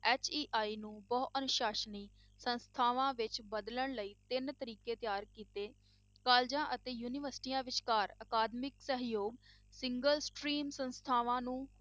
HEI ਨੂੰ ਬਹੁ ਅਨੁਸਾਸਨੀ ਸੰਸਥਾਵਾਂ ਵਿੱਚ ਬਦਲਣ ਲਈ ਤਿੰਨ ਤਰੀਕੇ ਤਿਆਰ ਕੀਤੇ colleges ਅਤੇ ਯੂਨੀਵਰਸਟੀਆਂ ਵਿਚਕਾਰ ਅਕਾਦਮਿਕ ਸਹਿਯੋਗ Single strain ਸੰਸਥਾਵਾਂ ਨੂੰ